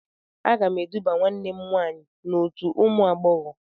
Aga m eduba nwanne m nwaanyị n'otu ụmụ agbọghọ.